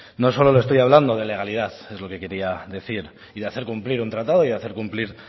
no solo le estoy hablando de legalidad es lo que quería decir y de hacer cumplir un tratado y hacer cumplir